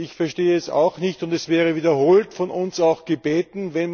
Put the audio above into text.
Ich verstehe es auch nicht. Und es wurde wiederholt von uns auch gebeten.